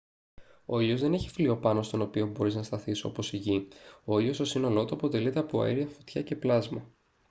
ο ήλιος δεν έχει φλοιό πάνω στον οποίο μπορείς να σταθείς όπως η γη ο ήλιος στο σύνολό του αποτελείται από αέρια φωτιά και πλάσμα